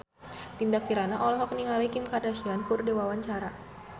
Dinda Kirana olohok ningali Kim Kardashian keur diwawancara